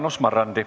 Jaanus Marrandi.